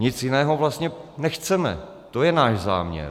Nic jiného vlastně nechceme, to je náš záměr.